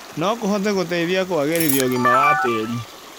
no kũhote gũteithia kũagĩrithia ũgima wa tĩri